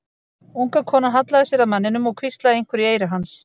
Unga konan hallaði sér að manninum og hvíslaði einhverju í eyra hans.